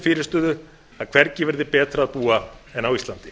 fyrirstöðu að hvergi verði betra að búa en á íslandi